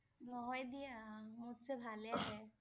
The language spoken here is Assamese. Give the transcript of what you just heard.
নহয় দিয়া । মোত চে ভালে আহে